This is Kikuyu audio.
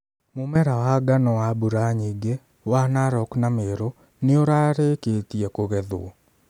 Mu͂mera wa ngano wa mbura nyingi͂, wa Narok na Meru, ni͂ u͂rari͂ki͂tie ku͂gethwo.